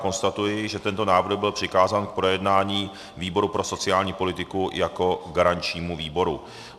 Konstatuji, že tento návrh byl přikázán k projednání výboru pro sociální politiku jako garančnímu výboru.